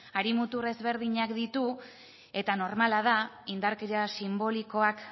hari mutur ezberdinak ditu eta normala da indarkeria sinbolikoak